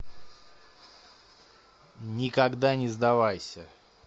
никогда не сдавайся